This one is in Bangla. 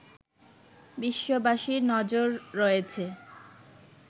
বিশ্ববাসীর নজর রয়েছে